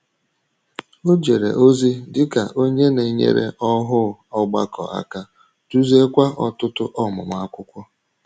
Ọ jèrè ozi dị ka onye na-enyèrè òhù ọgbàkọ àkà, dúzìèkwa ọ̀tụ̀tụ̀ ọmụmụ akwụkwọ.